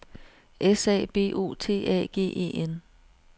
S A B O T A G E N